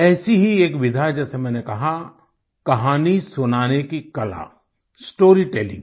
ऐसी ही एक विधा जैसा मैंने कहा कहानी सुनाने की कला स्टोरी टेलिंग